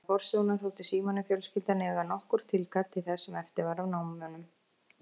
Vegna forsögunnar þótti Símoni fjölskyldan eiga nokkurt tilkall til þess sem eftir var af námunum.